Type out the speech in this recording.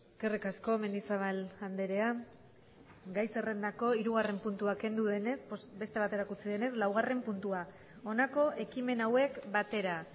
eskerrik asko mendizabal andrea gai zerrendako hirugarren puntua kendu denez beste baterako utzi denez laugarren puntua honako ekimen hauek batera